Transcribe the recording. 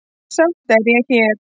Samt er ég hér.